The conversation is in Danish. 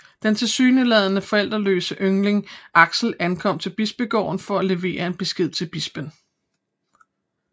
Den tilsyneladende forældreløse yngling Axel ankommer til bispegården for at levere en besked til bispen